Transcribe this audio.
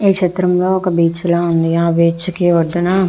ఈ చిత్రం లొ ఒక బీచ్ లా ఉంది. ఆ బీచ్ కి ఒడ్డున --